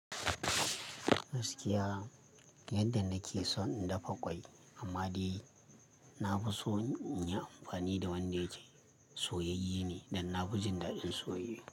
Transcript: Gaskiya yadda nake son in dafa kwai, amma dai na fi so in yi amfani da wanda yake soyayye ne, dan na fi jin daɗin soyayye.